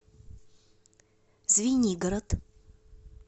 звенигород